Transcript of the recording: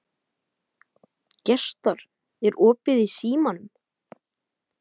Gestar, er opið í Símanum?